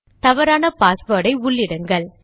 தவறான பாஸ்வேர்டை உள்ளிடுங்கள்